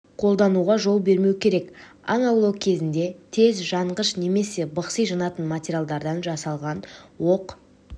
қолдануға жол бермеу керек аң аулау кезінде тез жанғыш немесе бықси жанатын материалдардан жасалған оқ